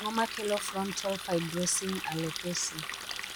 Ang'o makelo frontal fibrosing alopecia?